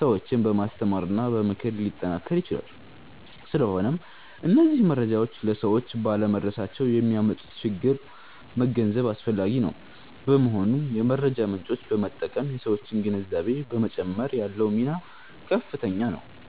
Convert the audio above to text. ሰዎችን በማስተማርና በመምከር ሊጠናከር ይችላል። ስለሆነም እነዚህ መረጃዎች ለሰዎች ባለመድረሳቸው የሚያመጡትን ችግር መገንዘብ አስፈላጊ ነው። በመሆኑም የመረጃ ምጮችን በመጠቀም የሠዎችን ግንዛቤ በመጨመር ያለው ሚና ከፍተኛ ነው።